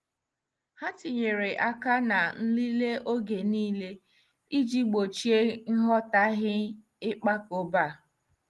Ha tinyere aka na nlele oge niile iji gbochie nghọtahie ịkpakọba.